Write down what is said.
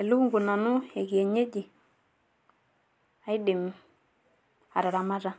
elukunku nanu ekienyeji aidim ataraamata,